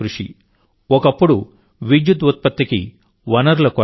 ఒకప్పుడు విద్యుదుత్పత్తికి వనరుల కొరత ఉండేది